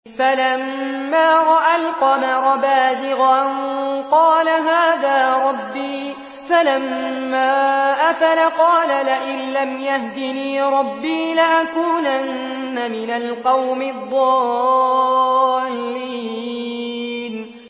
فَلَمَّا رَأَى الْقَمَرَ بَازِغًا قَالَ هَٰذَا رَبِّي ۖ فَلَمَّا أَفَلَ قَالَ لَئِن لَّمْ يَهْدِنِي رَبِّي لَأَكُونَنَّ مِنَ الْقَوْمِ الضَّالِّينَ